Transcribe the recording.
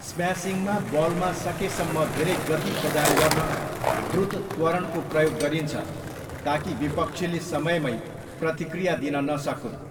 स्म्यासिङमा बलमा सकेसम्म धेरै गति प्रदान गर्न द्रुत त्वरणको प्रयोग गरिन्छ ताकि विपक्षीले समयमै प्रतिक्रिया दिन नसकून्।